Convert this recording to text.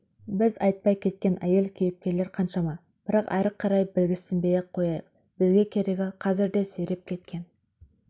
біз айтпай кеткен әйел-кейіпкерлер қаншама бірақ әрі қарай білгішсінбей-ақ қояйық бізге керегі қазірде сиреп кеткен